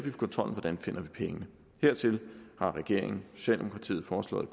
kontrollen hvordan vi finder pengene hertil har regeringen socialdemokratiet foreslået